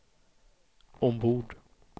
ombord